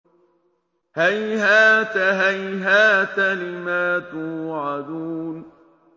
۞ هَيْهَاتَ هَيْهَاتَ لِمَا تُوعَدُونَ